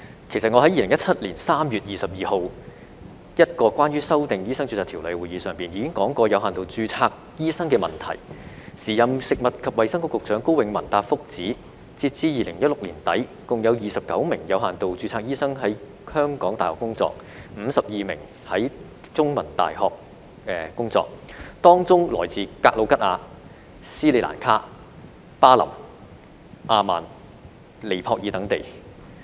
其實我在2017年3月22日一個關於修訂《醫生註冊條例》的會議上，已經提出過有限度註冊醫生的問題，時任食物及衞生局局長高永文答覆指，截至2016年年底，共有29名有限度註冊醫生於香港大學工作 ，52 名於香港中文大學工作，他們來自格魯吉亞、斯里蘭卡、巴林、阿曼和尼泊爾等地。